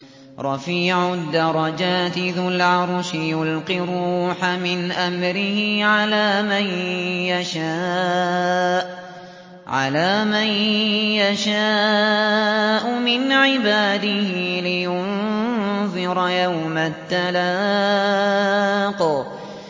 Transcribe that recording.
رَفِيعُ الدَّرَجَاتِ ذُو الْعَرْشِ يُلْقِي الرُّوحَ مِنْ أَمْرِهِ عَلَىٰ مَن يَشَاءُ مِنْ عِبَادِهِ لِيُنذِرَ يَوْمَ التَّلَاقِ